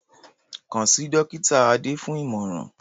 Kàn sí Dọ́kítà Adé fún ìmọ̀ràn